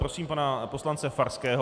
Prosím pana poslance Farského.